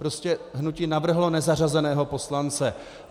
Prostě hnutí navrhlo nezařazeného poslance.